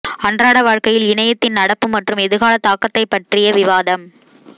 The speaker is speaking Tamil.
அன்றாட வாழ்க்கையில் இணையத்தின் நடப்பு மற்றும் எதிர்கால தாக்கத்தைப் பற்றிய விவாதம்